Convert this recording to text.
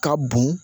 Ka bon